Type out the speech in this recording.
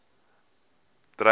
dreyer